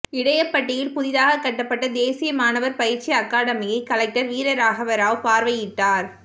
இடையப்பட்டியில் புதிதாக கட்டப்பட்ட தேசிய மாணவர் பயிற்சி அகாடமியை கலெக்டர் வீரராகவராவ்பார்வையிட்டார்